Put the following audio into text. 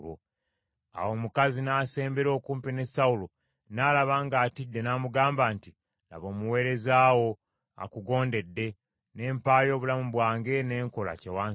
Awo omukazi n’asembera okumpi ne Sawulo, n’alaba ng’atidde, n’amugamba nti, “Laba, omuweereza wo akugondedde, ne mpaayo obulamu bwange, ne nkola kye wansabye.